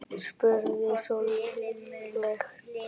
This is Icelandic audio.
spurði Sölvi lágt.